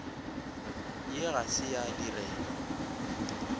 ye ga se ya direlwa